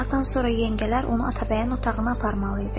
Bir saatdan sonra yengələr onu Atabəyin otağına aparmalı idi.